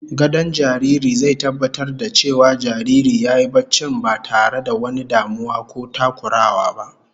Gadon jariri zai tabbatar da cewa jariri yayi barcin ba tare da wani damuwa ko takurawa ba